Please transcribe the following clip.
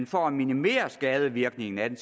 for at minimere skadevirkningerne af det